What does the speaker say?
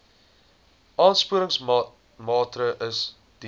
aansporingsmaatre ls diens